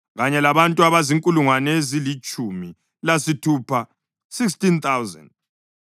kanye labantu abazinkulungwane ezilitshumi lasithupha (16,000).